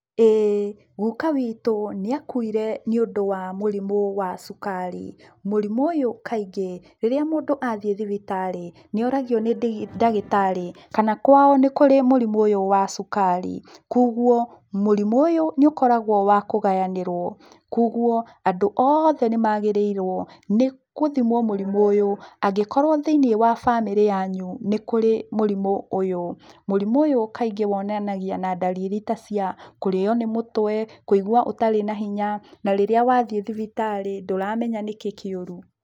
Ĩĩ. Guka witũ, nĩakuire nĩũndũ wa mũrimũ wa cukari. Mũrimũ ũyũ kaingĩ, rĩrĩa mũndũ athiĩ thibitarĩ, nĩoragio nĩ ndagĩtarĩ, kana kwao nĩ kũrĩ mũrimũ ũyũ wa cukari. Kuoguo, mũrimũ ũyũ nĩũkoragũo wa kũgayanĩrũo. Kuoguo, andũ othe nĩmagĩrĩirũo nĩgũthimũo mũrimũ ũyũ, angĩkorũo thĩiniĩ wa bamĩrĩ yanyu nĩ kũrĩ mũrimũ ũyũ. Mũrimũ ũyũ kaingĩ wonanagia na ndariri ta cia kũrĩo nĩ mũtwe, kũigua ũtarĩ na hinya, na rĩrĩa wathiĩ thibitarĩ ndũramenya nĩkĩ kĩũru.